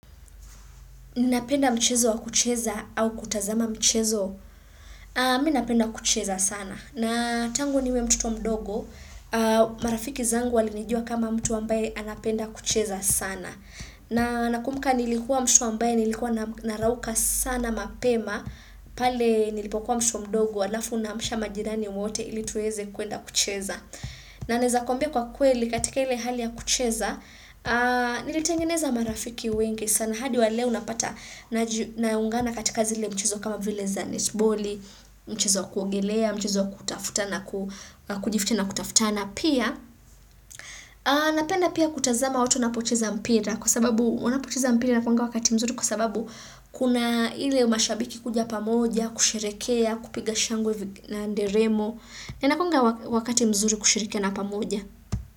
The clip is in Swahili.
Unapenda michezo ya kucheza au kutazama michezo? Minapenda kucheza sana. Na tangu niwe mtu mdogo, marafiki zangu walinijua kama mtu ambaye anapenda kucheza sana. Na nakumbuka nilikuwa mtu ambaye, nilikuwa narauka sana mapema, pale nilipokuwa mtoto mdogo, alafu naamsha majirani wote ili tuweze kuenda kucheza. Naezakwambia kwa kweli katika ile hali ya kucheza, nilitengeneza marafiki wengi. Sana hadi wa leo napata naungana katika zile michezo kama vile za netboli, michezo ya kuogelea, michezo ya kutafutana, kujitia na kutafutana. Pia, napenda pia kutazama watu wanapocheza mpira kwa sababu wanapocheza mpira inakuanga wakati mzuri kuna hile mashabiki kujia pamoja, kusherekea na kupiga shangwe na nderemo. Na inakonga wakati mzuri kushirike na pamoja.